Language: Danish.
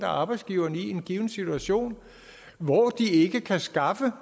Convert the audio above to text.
arbejdsgiverne i en given situation hvor de ikke kan skaffe